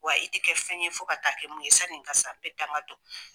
Wa i tɛ kɛ fɛn ye fo ka taa kɛ mun ye sanni n ka sa n bɛ danga don.